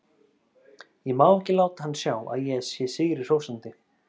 Ég má ekki láta hann sjá að ég sé sigri hrósandi.